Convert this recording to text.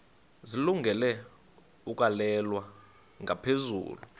zilungele ukwalekwa ngaphezulu